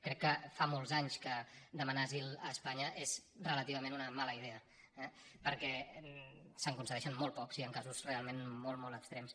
crec que fa molts anys que demanar asil a espanya és relativament una mala idea eh perquè se’n concedei·xen molt pocs i en casos realment molt molt extrems